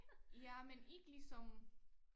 Ja men ikke ligesom